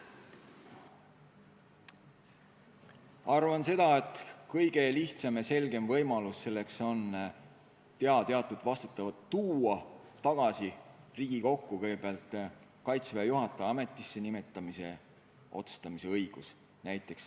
Ma arvan, et kõige lihtsam ja selgem võimalus selleks on tuua teatud vastutus tagasi Riigikokku, kõigepealt näiteks Kaitseväe juhataja ametisse nimetamise õigus.